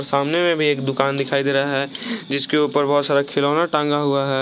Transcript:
सामने में भी एक दुकान दिखाई दे रहा है जिसके ऊपर बहुत सारा खिलौना टंगा हुआ है।